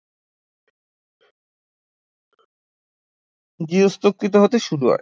গার্হস্থ্যকৃত হতে শুরু হয়